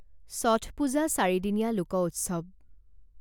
চঠ পূজা চাৰিদিনীয়া লোক উৎসৱ।